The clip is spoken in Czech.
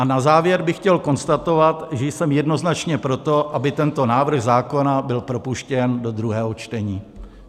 A na závěr bych chtěl konstatovat, že jsem jednoznačně pro to, aby tento návrh zákona byl propuštěn do druhého čtení.